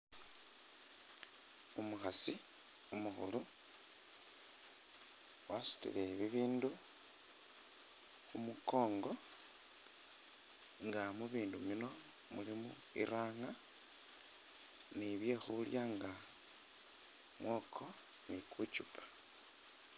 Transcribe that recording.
Umukhasi umukhulu, wasutile bi bindu khu mukongo nga mu bindu bino mulimo iranga ni bye khulya nga mwoko ni ku chupa.